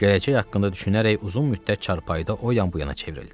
Gələcək haqqında düşünərək uzun müddət çarpayıda o yan bu yana çevrildi.